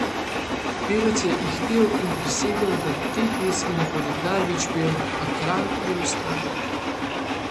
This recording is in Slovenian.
Pevec je ihtel in prisegel, da te pesmi ne bo nikdar več pel, a kralj je vztrajal.